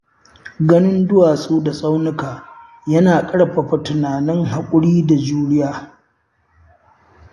Ganin duwatsu da tsaunuka yana ƙarfafa tunanin haƙuri da juriya.